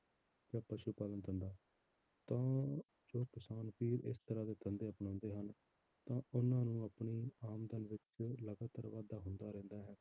ਜਾਂ ਪਸੂ ਪਾਲਣ ਦਾ ਧੰਦਾ, ਤਾਂ ਜੋ ਕਿਸਾਨ ਵੀਰ ਇਸ ਤਰ੍ਹਾਂ ਦੇ ਧੰਦੇ ਅਪਣਾਉਂਦੇ ਹਨ, ਤਾਂ ਉਹਨਾਂ ਨੂੰ ਆਪਣੀ ਆਮਦਨ ਵਿੱਚ ਲਗਾਤਾਰ ਵਾਧਾ ਹੁੰਦਾ ਰਹਿੰਦਾ ਹੈ।